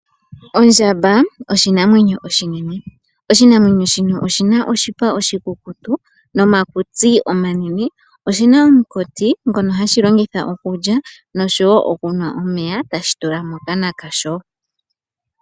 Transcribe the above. Ondjamba oshinamwenyo oshinene oshinamwenyo shino shina oshipa oshikukutu nomakutsi omanene oshina omkutsi ngono hashi longitha okulya nokunwa omeya tashi tula mokana kwasho.